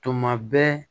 Tuma bɛɛ